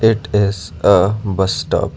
it is a bus stop.